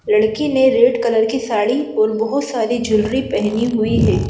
लड़की ने red colour की साड़ी और बहुत सारी ज्यूलरी पहनी हुई है।